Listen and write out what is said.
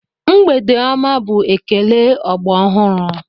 Mgbede ọma bụ ekele ọgbọ ọhụrụ.